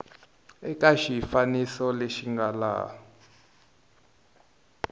eka xifaniso lexi nga laha